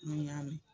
N y'a mɛn